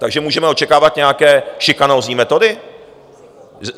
Takže můžeme očekávat nějaké šikanózní metody?